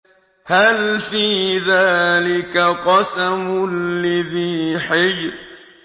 هَلْ فِي ذَٰلِكَ قَسَمٌ لِّذِي حِجْرٍ